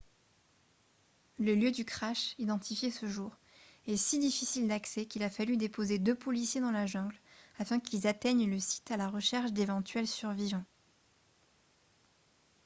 le lieu du crash identifié ce jour est si difficile d'accès qu'il a fallu déposer deux policiers dans la jungle afin qu'ils atteignent le site à la recherche d'éventuels survivants